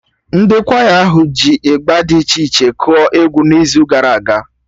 Ndị kwaya ahụ ji Ịgba d iche iche kụọ egwu n'izu gara aga